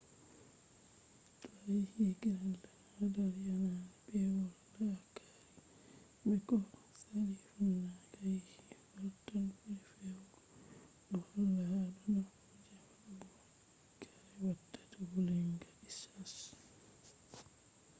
to a yahi greenland hadar yanayi peewol la’akari be koh sali funange a yahi wartan ɓuri fewugo do holla ha do nafu je waɗugo kare watata wulenga ishashe